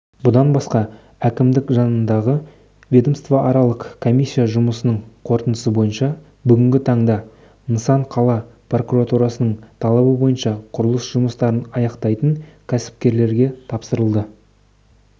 бұдан басқа әкімдік жанындағы ведомствоаралық комиссия жұмысының қорытындысы бойынша бүгінгі таңда нысан қала прокурорының талабы бойынша құрылыс жұмыстарын аяқтайтын кәсіпкерлерге тапсырылды